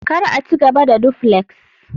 kar a ci gaba da duflex